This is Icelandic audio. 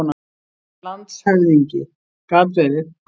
LANDSHÖFÐINGI: Gat verið.